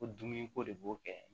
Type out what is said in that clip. Ko dumuni ko de b'o kɛ